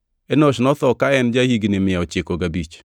Enosh notho ka en ja-higni mia ochiko gabich.